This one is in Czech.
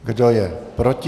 Kdo je proti?